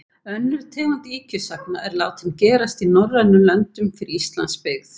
Önnur tegund ýkjusagna er látin gerast í norrænum löndum fyrir Íslands byggð.